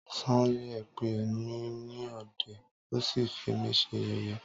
Sanya pè mí ní ọ̀dẹ̀,ó sí fí mí ṣe yẹ̀yé.